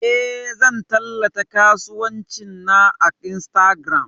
Eh, zan tallata kasuwancin na a Instagram.